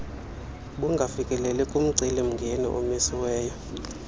bungafikeleli kumceli mngeniomiswe